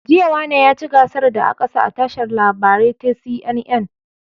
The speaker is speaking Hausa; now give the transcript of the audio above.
Jiya wane yaci gasar da aƙasa a tashar labarai ta CNN